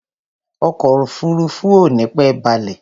Ọkọ̀ òfurufú ò nípẹ́ balẹ̀.